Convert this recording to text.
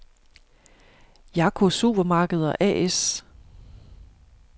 Jaco Supermarkeder A/S